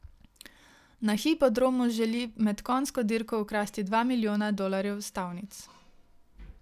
Na hipodromu želi med konjsko dirko ukrasti dva milijona dolarjev s stavnic.